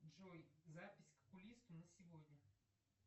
джой запись к окулисту на сегодня